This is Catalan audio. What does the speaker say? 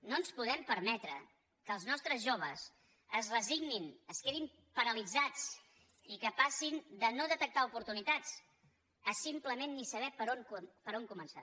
no ens podem permetre que els nostres joves es resignin es quedin paralitzats i que passin de no detectar oportunitats a simplement no saber per on començar